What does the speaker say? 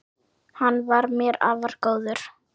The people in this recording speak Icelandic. Hann var mér afar góður.